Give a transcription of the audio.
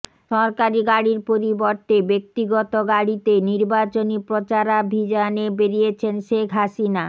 সরকারি গাড়ির পরিবর্তে ব্যক্তিগত গাড়িতে নির্বাচনী প্রচারাভিযানে বেরিয়েছেন শেখ হাসিনা